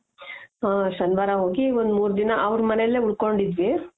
ಹ ಶನಿವಾರ ಹೋಗಿ ಒಂದ್ ಮೂರ್ ದಿನ ಅವ್ರ್ ಮನೇಲೆ ಉಳ್ಕೊಂಡಿದ್ವಿ